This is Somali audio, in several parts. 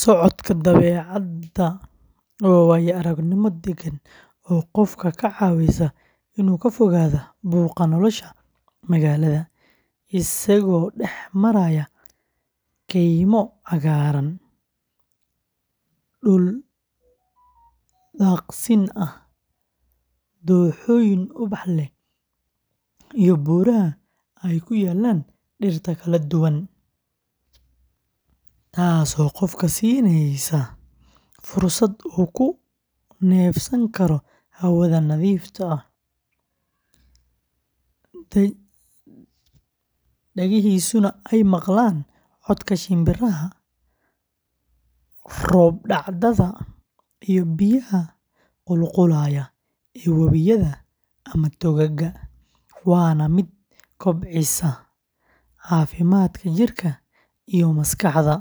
Socodka dabeecadda waa waayo-aragnimo deggan oo qofka ka caawisa inuu ka fogaado buuqa nolosha magaalada, isagoo dhex maraya kaymo cagaaran, dhul daaqsin ah, dooxooyin ubax leh, iyo buuraha ay ku yaallaan dhirta kala duwan, taasoo qofka siinaysa fursad uu ku neefsan karo hawada nadiifta ah, dhagihiisuna ay maqlaan codka shimbiraha, roob-dhacda, iyo biyaha qulqulaya ee webiyada ama togagga, waana mid kobcisa caafimaadka jidhka iyo maskaxda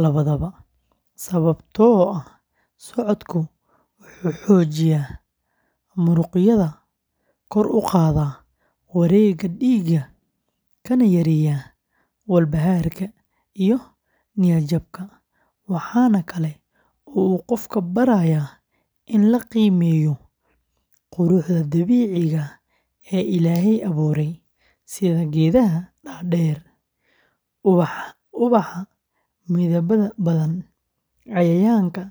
labadaba, sababtoo ah socodku wuxuu xoojiyaa muruqyada, kor u qaadaa wareegga dhiigga, kana yareeyaa walbahaarka iyo niyad-jabka, waxaana kale oo uu qofka barayaa in la qiimeeyo quruxda dabiiciga ah ee Ilaahay abuuray, sida geedaha dhaadheer, ubaxa midabada badan, cayayaanka